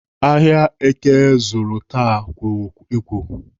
Ahịa èké zụrụ taa kworo ekworo